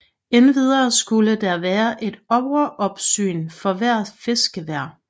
Endvidere skulle der være et overopsyn for hvert fiskevær